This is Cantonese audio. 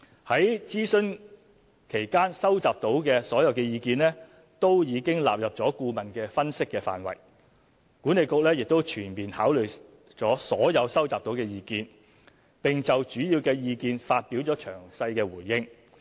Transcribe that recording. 在諮詢期間收集到的所有意見都已納入顧問的分析範圍，管理局亦已全面考慮所有收集到的意見，並就主要意見發表了詳細回應。